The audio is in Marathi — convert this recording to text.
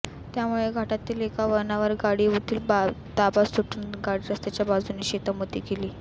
त्यामुळे घाटातील एका वळणावर गाडीवरील ताबा सुटून गाडी रस्त्याच्या बाजूच्या शेतामध्ये गेली